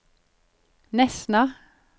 Nesna